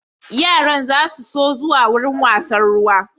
Yaran za su so zuwa wurin wasann ruwa